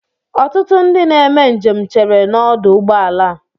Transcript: Ọtụtụ ndị na-eme njem cheere n'ọdụ ụgbọala a.